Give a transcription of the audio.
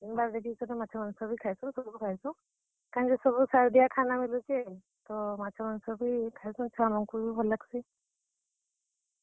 ଦିନ୍ ବାର୍ ଦେଖିକରି ମାଛ, ମାଂସ ବି ଖାଏସୁଁ, ସବୁ ଖାଏଁସୁ। କାଏଁଯେ ସବୁ ସାର୍ ଦିଆ ଖାନା ମିଲୁଛେ, ତ ମାଛ, ମାଂସ ବି ଖାଏଁସୁ, ଛୁଆ ମାନଙ୍କୁ ବି ଭଲ୍ ଲାଗସି।